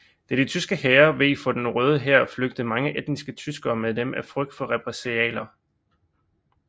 Da de tyske hære veg for den Røde Hær flygtede mange etniske tyskere med dem af frygt for repressalier